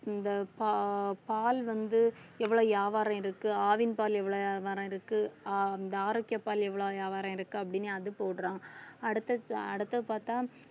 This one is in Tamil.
இந்த பா~ பால் வந்து எவ்வளவு வியாபாரம் ஆயிருக்கு ஆவின் பால் எவ்வளவு வியாபாரம் ஆயிருக்கு இந்த ஆரோக்கிய பால் எவ்வளவு வியாபாரம் ஆயிருக்கு அப்படீன்னு அது போடுறான் அடுத்த~ அடுத்தது பார்த்தா